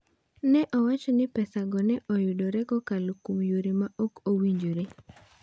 Ne owach ni pesago ne oyudre kokalo kuom yore ma ok owinjore.